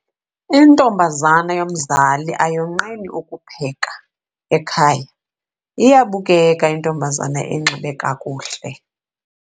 Intombazana yomzali ayonqeni ukupheka ekhaya. iyabukeka intombazana enxiba kakuhle